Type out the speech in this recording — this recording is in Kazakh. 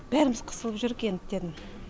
бәріміз қысылып енді дедім